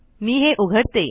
मी हे उघडते